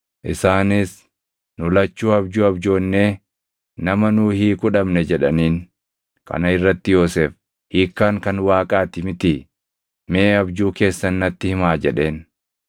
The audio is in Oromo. Isaanis, “Nu lachuu abjuu abjoonnee nama nuu hiiku dhabne” jedhaniin. Kana irratti Yoosef, “Hiikkaan kan Waaqaa ti mitii? Mee abjuu keessan natti himaa” jedheen.